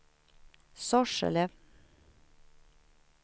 Sorsele